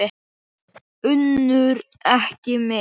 UNNUR: Ekki mitt.